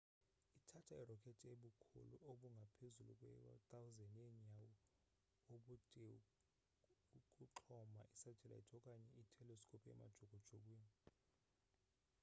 ithatha i-rocket ebukhulu obungapezulu kwe-100 yenyawo ubudeukuxhoma isatellite okanye i-telescope emajukujukwini